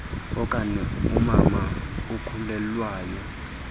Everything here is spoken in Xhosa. okona umama okhulelwayo